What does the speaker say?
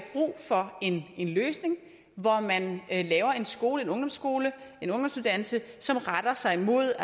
brug for en løsning hvor man laver en skole en ungdomsskole en ungdomsuddannelse som retter sig mod